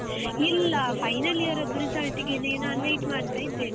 ಇಲ್ಲ, final year ರದ್ದು result ಗೆನೇ ನಾನ್ wait ಮಾಡ್ತಾ ಇದ್ದೇನೆ.